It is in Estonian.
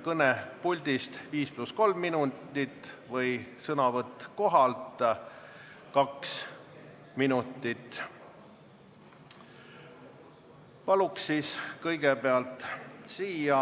Palun kõigepealt siia